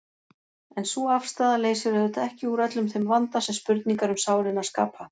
En sú afstaða leysir auðvitað ekki úr öllum þeim vanda sem spurningar um sálina skapa.